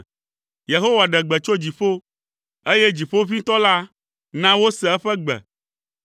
Yehowa ɖe gbe tso dziƒo, eye Dziƒoʋĩtɔ la na wose eƒe gbe.